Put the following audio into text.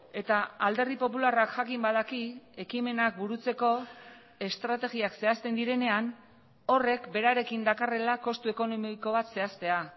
eta alderdi popularrak jakin badaki ekimenak burutzeko estrategiak zehazten direnean horrek berarekin dakarrela kostu ekonomiko bat zehaztea